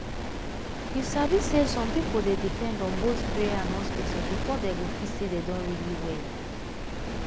you sabi say some people dey depend on both prayer and hospital before dem go feel say dem don really well.